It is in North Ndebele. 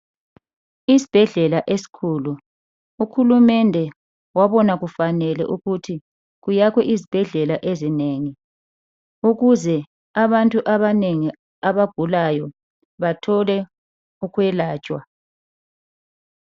Isibhedlela esikhulu uhulumende wabona kufanele ukuthi kuyakhwe izibhedlela ezinengi ukuze abantu abanengi abagulayo bathole ukwelatshwa.